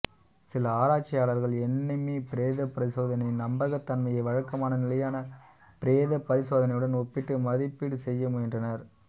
சில ஆராய்ச்சியாளர்கள் எண்ணிம பிரேதப் பரிசோதனையின் நம்பகத்தன்மையை வழக்கமான நிலையான பிரேதப் பரிசோதனையுடன் ஒப்பிட்டு மதிப்பீடு செய்ய முயன்றனர்